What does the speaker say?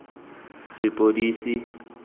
sepodisi